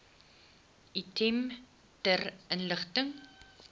item ter inligting